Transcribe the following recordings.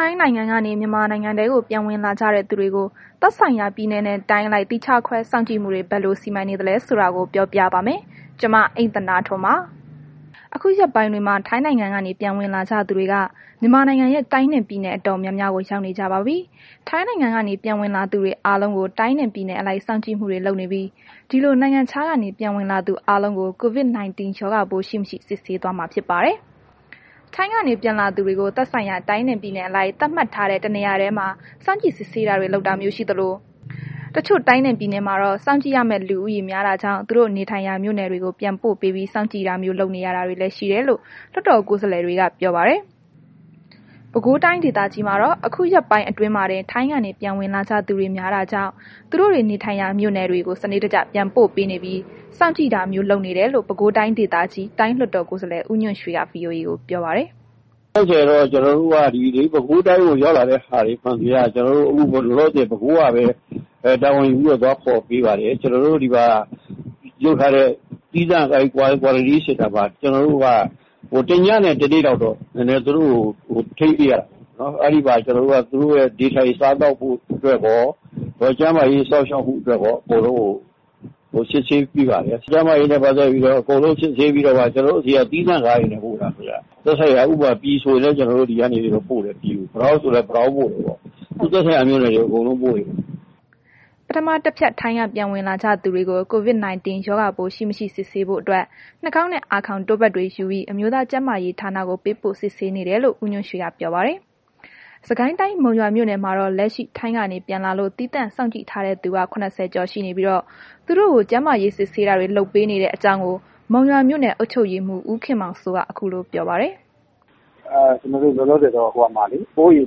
ိုင်းနိုင်ငံကနေ မြန်မာနိုင်ငံထဲကို ပြန်ဝင်လာကြတဲ့ သူတွေကို သက်ဆိုင်ရာ ပြည်နယ်နဲ့တိုင်းအလိုက် သီးခြားခွဲစောင့်ကြည့်မှုတွေ ဘယ်လို စီမံနေလဲဆိုတာကို ဗွီအိုအေမြန်မာပိုင်းသတင်းထောက် မအိမ့်သန္တာထွန်းက တင်ဆက်ပေးပါမယ်။ အခုရက်ပိုင်းတွေမှာ ထိုင်းနိုင်ငံကနေ ပြန်ဝင်လာကြသူတွေက မြန်မာနိုင်ငံရဲ့တိုင်းနဲ့ ပြည်နယ်အတော် များများကို ရောက်နေကြပါပြီ။ ထိုင်းနိုင်ငံကနေ ပြန်ဝင်လာသူတွေအားလုံးကို တိုင်းနဲ့ ပြည်နယ်အလိုက် စောင့်ကြည့်မှုတွေလုပ်နေပြီး ဒီလို နိုင်ငံခြားကနေ ပြန်ဝင်လာသူ အားလုံးကို COVID-19 ရောဂါပိုး ရှိ၊ မရှိ စစ်ဆေးသွားမှာဖြစ်ပါတယ်။ ထိုင်းကနေ ပြန်လာသူတွေကို သက်ဆိုင်ရာ တိုင်းနဲ့ ပြည်နယ်အလိုက် သတ်မှတ်ထားတဲ့ တ နေရာတည်းမှာ စောင့်ကြည့်စစ်ဆေးတာတွေ လုပ်တာမျိုးရှိသလို တချို့ တိုင်းနှင့်ပြည်နယ်မှာတော့ စောင့်ကြည့်ရမယ့် လူဦးရေ များတာကြောင့် သူတို့နေထိုင်ရာ မြို့နယ်တွေကို ပြန်ပို့ပေးပြီး စောင့်ကြည့်တာမျိုး လုပ်နေရတာတွေလည်း ရှိတယ်လို့ လွှတ်တော် ကိုယ်စားလှယ်တွေက ပြောပါတယ်။ ပဲခူးတိုင်းဒေသကြီးမှာတော့ အခုရက်ပိုင်းအတွင်းမှာတင် ထိုင်းကနေ ပြန်ဝင်လာကြသူတွေ များတာကြောင့် သူတို့တွေနေထိုင်ရာ မြို့နယ်တွေကို စနစ်တကျ ပြန်ပို့ပေးနေပြီး စောင့်ကြည့်တာမျိုး လုပ်နေတယ်လို့ ပဲခူးတိုင်းဒေသကြီး တိုင်းလွှတ်တော်ကိုယ်စားလှယ် ဦးညွှန့်ရွှေက VOA ကို ပြောပါတယ်။ “တိုင်းကတော့ အခုလောလောဆယ်တော့ ပဲခူးတိုင်းကို ရောက်လာတဲ့ သူတွေမှန်သမျှ ကျနော်တို့ အခုလောလောဆယ် ပဲခူးကပဲ တာဝန်ပြီးတော့ သွားခေါ်ပေးပါတယ်။ ပြီးတော့ အခု ကျနော်တို့လုပ်ထားတဲ့ သီးသန့် Quarantine Center မှာ တစ်ညနဲ့ တစ်နေ့လောက်တော့ သူတို့ကို နည်းနည်း ထိန်းပေးရတာပေါ့။ အဲ့ဒီမှာနည်းနည်း ကျနော်တို့ သူတို့ရဲ့ နေထိုင်စားသောက်ဖို့အတွက်ရော၊ ကျန်းမာရေးစောင့်ရှောက်မှုအတွက်ရော အကုန် သူတို့ကို စစ်ဆေးပေးပါတယ်။ ကျန်မာရေးကို အကုန်လုံးစစ်ဆေးပြီးတော့မှ ကျနော်တို့ သီးသန့်ကားတွေနဲ့ ပို့တာ၊ သက်ဆိုင်ရာ ဥပမာ ပြည်လို့ဆိုရင်လည်း ဒီကနေပြီးတော့ ပို့တယ်။ ပတောက်ဆိုလည်း ပတောက်ပေ့ါ။ သူ့သက်ဆိုင်ရာ မြို့နယ်တွေကို အကုန်ပို့တယ်။” ပထမ တစ်ဖြတ် ထိုင်းကနေ ပြန်လာသူတွေကို COVID-19 ရောဂါပိုးရှိ၊ မရှိစစ်ဆေးဖို့အတွက် နှာခေါင်းနဲ့ အာခေါင်တို့ပတ်တွေယူပြီး အမျိုးသားကျန်းမာရေး ဌာနကို ပေးပို့စစ်ဆေးနေတယ်လို့ ဦးညွှန့်ရွှေက ပြောပါတယ်။ စစ်ကိုင်းတိုင်းမုံရွာမြို့နယ်မှာတော့ လက်ရှိ ထိုင်းကနေ ပြန်လာလို့ သီးသန့်စောင့်ကြည့်ထားတဲ့သူက ၇၀ ကျော်ရှိနေပြီးတော့ သူတို့ကို ကျန်းမာရေး စစ်ဆေးတာတွေ လုပ်ပေးနေတဲ့အကြောင်းကို မုံရွာမြို့နယ် အုပ်ချုပ်ရေးမှူး ဦးခင်မောင်စိုးက ခုလို ပြောပါတယ်။ “ကျနော်တို့ လောလောဆယ်တော့ အိုးအိမ်မှာ ၇၆ ယောက် ထားထားတယ်။ ကျနော်တို့က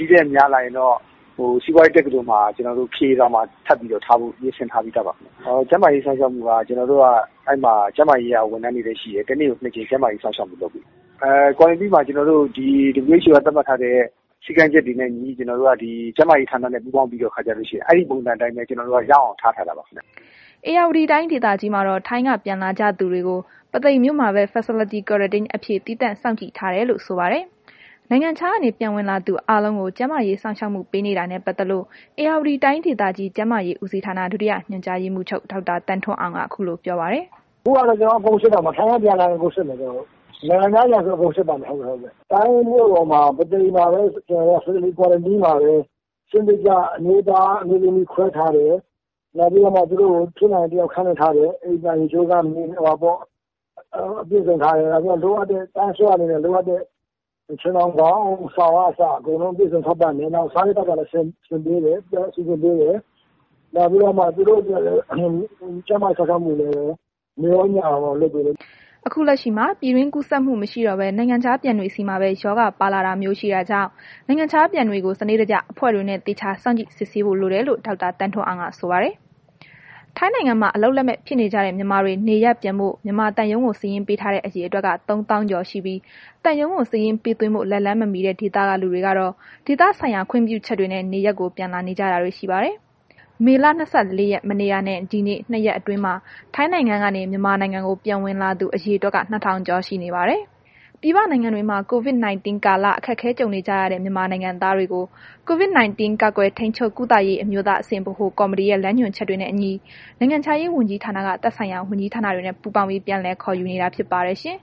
ဒီထက်များလာရင်တော့ စီးပွားရေးတက္ကသိုလ် ခရေဆောင်မှာ ထပ်ပြီးတော့ ထားဖို့စီစဉ်ထား ပြီးသားပါ။ ကျန်းမာရေး စောင့်ရှောက်မှုက ကျနော်တို့က အဲ့မှာ ကျန်းမာရေးက ဝန်ထမ်းတွေလည်းရှိတယ်။ တစ်နေ့ကို နှစ်ကြိမ် ကျန်းမာရေးစောင့်ရှောက်မှု လုပ်ပေးတယ်။ Quarantine မှာ ကျွန်တော်တို့ ဒီ WHO က သတ်မှတ်ထားတဲ့ စည်းကမ်းချက်တွေနဲ့ အညီ ဒီကျန်းမာရေးဌာနနဲ့ ပူးပေါင်းပြီးတဲ့ခါကျတော့ အဲ့ဒီပုံစံအတိုင်းပဲ ကျနော်တို့က ထားထားတာပါ။” ဧရာဝတီတိုင်းဒေသကြီးမှာတော့ ထိုင်းကပြန်လာတဲ့သူအားလုံးကို ပုသိမ်မြို့မှာပဲ Facility Quarantine အဖြစ် သီးသန့်စောင့်ကြည့်ထားတယ်လို့ ဆိုပါတယ်။ နိုင်ငံခြားကနေ ပြန်ဝင်လာသူတွေအားလုံးကို ကျန်းမာရေးစောင့်ရှောက်မှုပေးနေတာနဲ့ ပတ်သက်လို့ ဧရာဝတီတိုင်းဒေသကြီး ကျန်းမာရေး ဦးစီးဌာန ဒုတိယညွှန်ကြားရေးမှူးချုပ် ဒေါက်တာ သန်းထွန်းအောင်က ခုလိုပြောပါတယ်။ “ခုကတော့ အကုန်စစ်တော့မှာ ထိုင်းကပြန်လာရင် အကုန်စစ်မှာ၊ နိုင်ငံခြားပြန်ဆို အကုန်စစ်ပါမယ်။ တိုင်းမြို့တော်မှာ ပုသိမ်မှာပဲ Facility Quarantine မှာပဲ စနစ်တကျ အမျိုးသား၊ အမျိုးသမီး ခွဲထားတယ်။ နောက်ပြီးတော့ ဖြစ်နိုင်ရင် တစ်ယောက်ခန်းနဲ့ ထားတယ်။ အိမ်သာ ရေချိုးခန်း အပြည့်အစုံထားတယ်။ တစ်ယောက်ချင်းစီအတွက် လိုအပ်တဲ့ ခြင်ထောင် ခေါင်းအုံး စောင် ကအစ အကုန် အပြည်အစုံ ထောက်ပံ့ထားတယ်။ နောက် စားဖို့သောက်ဖို့လည်း စီစဉ်ပေးတယ်။ နောက်ပြီးတော့မှ သူတို့အတွက်လည်း ကျန်းမာရေး စောင့်ရှောက်မှုကိုလည်း နေ့ရော၊ ညရော လုပ်ပေးတယ်။” အခုလက်ရှိမှာ ပြည်တွင်းကူးစက်မှု မရှိတော့ဘဲ နိုင်ငံခြားပြန်တွေဆီမှာပဲ ရောဂါပါလာတာမျိုးရှိတာကြောင့် နိုင်ငံခြားပြန်တွေကို စနစ်တကျ အဖွဲ့တွေနဲ့ သေချာစောင့်ကြည့်ဆောင်ရွက်ဖို့လိုတယ်လို့ ဒေါက်တာ သန်းထွန်းအောင်က ဆိုပါတယ်။ ထိုင်းနိုင်ငံမှာ အလုပ်လက်မဲ့ဖြစ်နေကြတဲ မြန်မာတွေ နေရပ်ပြန်ဖို့ မြန်မာသံရုံးကို စာရင်းပေးထားတဲ့ အရေအတွက်က ၃၀,၀၀၀ ကျော်ရှိပြီး သံရုံးကို စာရင်းပေးသွင်းဖို့ လက်လှမ်းမမှီတဲ့ ဒေသက လူတွေကတော့ ဒေသဆိုင်ရာ ခွင့်ပြုချက်တွေနဲ့ နေရပ်ကို ပြန်လာနေတာတွေရှိပါတယ်။ ပြည်ပနိုင်ငံတွေမှာ COVID ကာလ အခက်အခဲကြုံနေကြရတဲ့ မြန်မာနိုင်ငံသားတွေကို COVID 19 ကာကွယ်ထိန်းချုပ် ကုသရေး အမျိုးသားအဆင့် ဗဟိုကော်မတီရဲ့ လမ်းညွှန်ချက်တွေနဲ့အညီ နိုင်ငံခြားရေးဝန်ကြီးဌာနက သက်ဆိုင်ရာ ဝန်ကြီးဌာနတွေနဲ့ ပူးပေါင်းပြီး ပြန်လည်ခေါ်ယူနေတာဖြစ်ပါတယ်ရှင်။